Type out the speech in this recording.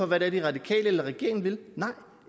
hvad det er de radikale eller regeringen vil nej